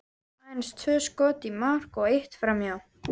Aðeins tvö skot í mark og eitt framhjá.